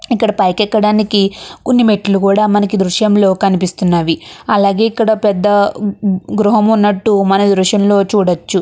ఇక్కడ పైకి ఎక్కడానికి కొన్ని మెట్లు కూడా మనకి ఈ దృశ్యాలు కనిపిస్తూ ఉన్నవి. అలానే ఇక్కడ పెద్ద గృహము ఉన్నటువంటి మనము ఈ దృశ్యంలో చూడవచ్చు.